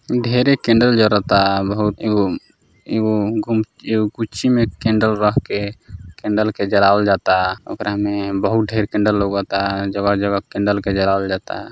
ढेरे कैंडल जरता। बहुत एगो एगो गुम गुची में कैंडल रख के कैंडल के जलावल जाता। ओकरा में बहुत ढ़ेर कैंडल लउकता जगह-जगह कैंडल के जलावल जाता।